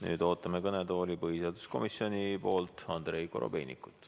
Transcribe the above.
Nüüd ootame kõnetooli põhiseaduskomisjonist Andrei Korobeinikut.